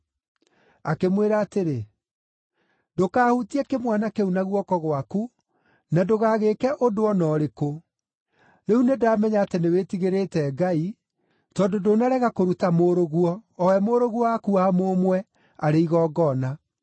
Akĩmwĩra atĩrĩ, “Ndũkahutie kĩmwana kĩu na guoko gwaku, na ndũgagĩĩke ũndũ o na ũrĩkũ. Rĩu nĩndamenya atĩ nĩwĩtigĩrĩte Ngai, tondũ ndũnarega kũruta mũrũguo, o we mũrũguo waku wa mũmwe, arĩ igongona.”